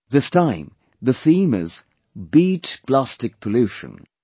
This time the theme is 'Beat Plastic Pollution'